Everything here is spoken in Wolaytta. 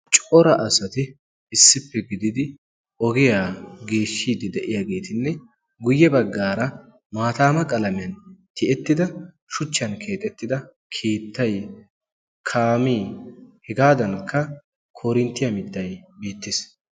Cora asatti issippe gididi ogiyaa geeshshidi deiyagettinne guye baggara maattama qalamiyaani tiyettidda shuchchan keexetidda keettay, kaame hegadanikka koorinttiya mittay beettes.